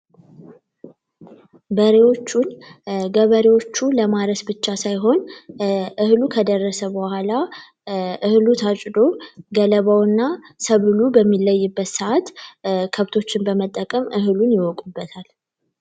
በሪዎቹን ገበሬዎቹ ለማስ ብቻ ሳይሆን እህሉ ከደረሰ በኋላ ታጭዶ ገለባውና ተብሎ በሚለይበት ሰዓት ከብቶችን በመጠቀም እህሉን ይወቁበታል